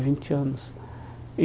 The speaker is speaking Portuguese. vinte anos e.